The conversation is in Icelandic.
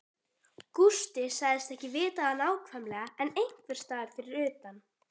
Gústi sagðist ekki vita það nákvæmlega en einhversstaðar fyrir utan